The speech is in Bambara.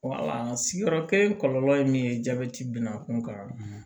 sigiyɔrɔ kelen kɔlɔlɔ ye min ye jabɛti bina kunkan